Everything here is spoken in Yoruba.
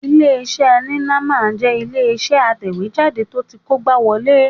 Ilé-iṣẹ́ Heineman jẹ́ ilé-iṣẹ́ atẹ̀wéjáde tó ti kógbáwọlé